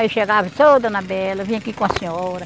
Aí chegava e dizia, ô dona Bela, eu vim aqui com a senhora.